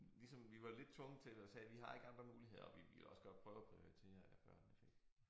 Ligesom vi var lidt tvunget til det og sagde vi har ikke andre muligheder og vi ville også godt prøve at prioritere at børnene fik